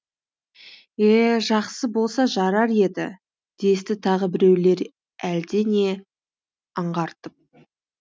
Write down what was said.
е жақсы болса жарар еді десті тағы біреулер әлде не аңғартып